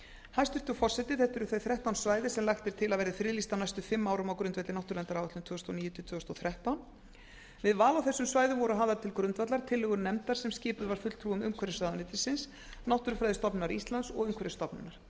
hæstvirtur forseti þetta eru þau þrettán svæði sem lagt er til að verði friðlýst á næstu fimm árum á grundvelli náttúruverndaráætlunar tvö þúsund og níu til tvö þúsund og þrettán við val á þessum svæðum voru hafðar til grundvallar tillögur nefndar sem skipuð var fulltrúum umhverfisráðuneytisins náttúrufræðistofnunar íslands og umhverfisstofnunar